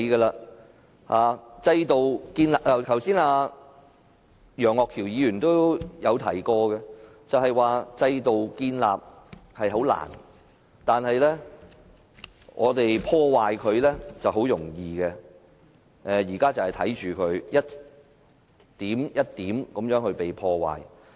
一如楊岳橋議員剛才所說，建立制度很難，但要破壞它卻很容易，我們現在正是看到制度被一點一滴地破壞。